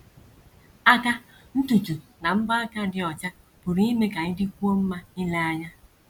Aka, ntutu, na mbọ aka dị ọcha pụrụ ime ka ị dịkwuo mma ile anya.